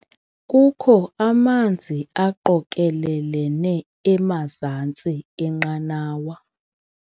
Kukho amanzi aqokelelene emazantsi enqanawa.